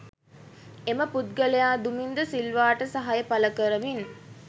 එම පුද්ගලයා දුමින්ද සිල්වාට සහාය පළකරමින්